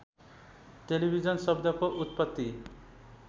television शब्दको उत्पत्ति